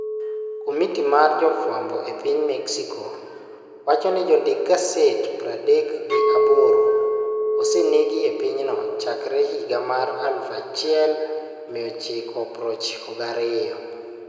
Komiti mar Jofwambo e Piny Mexico wacho ni jondik gaset pradek gi aboro osenegi e pinyno chakre higa mar 1992.